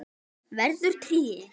Verður tré.